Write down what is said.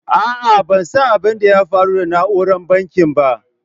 A'a ban san abin da ya faru da nauran bankin ba.